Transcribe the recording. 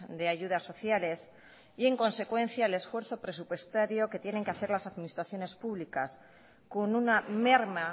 de ayudas sociales y en consecuencia el esfuerzo presupuestario que tienen que hacer las administraciones públicas con una merma